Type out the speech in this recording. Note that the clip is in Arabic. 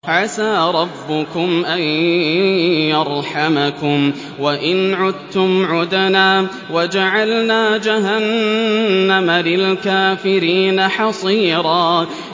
عَسَىٰ رَبُّكُمْ أَن يَرْحَمَكُمْ ۚ وَإِنْ عُدتُّمْ عُدْنَا ۘ وَجَعَلْنَا جَهَنَّمَ لِلْكَافِرِينَ حَصِيرًا